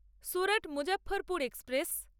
Surat-Muzaffarpur express